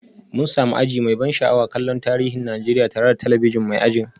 Mun sami aji mai ban sha'awa kallon tarihin Najeriya tare da talabijin mai ajin